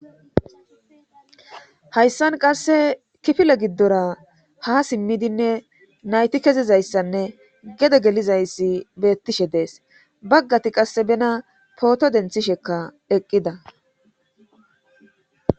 hayssan qasse kifile giddora ha simmidinne nayti kezizayssanne gede gelizayssi beettishe dees baggati qasse bena pooto denthishekka eqqida